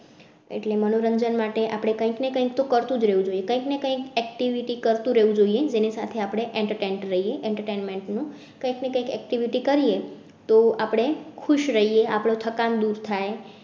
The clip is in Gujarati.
એટલે મનોરંજન માટે આપણે કઈક ને કઈક તો કરતુ જ રેહવું જોઈએ, કઈ ને કઈ activity કરતુ રહેવું જોઈએ જેની સાથે આપણે entertain રહીએ. entertainment કઈ ને કઈ activity કરીયે તો આપણે ખુશ રહીએ આપડું થકાન દૂર થાય